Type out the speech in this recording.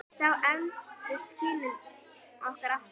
Þá efldust kynni okkar aftur.